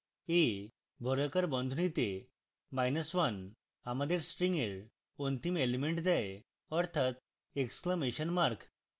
a বর্গাকার বন্ধনীতে minus one আমাদের string এর অন্তিম element দেয় অর্থাৎ exclamation mark